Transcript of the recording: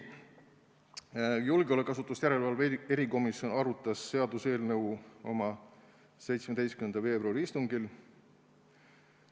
Julgeolekuasutuste järelevalve erikomisjon arutas seaduseelnõu oma 17. veebruari istungil.